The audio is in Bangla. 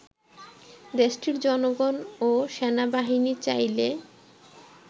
দেশটির জনগণ ও সেনাবাহিনী চাইলে